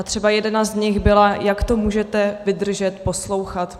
A třeba jedna z nich byla, jak to můžeme vydržet poslouchat.